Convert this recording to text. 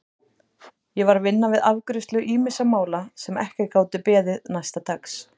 Ég var að vinna við afgreiðslu ýmissa mála sem ekki gátu beðið næsta dags.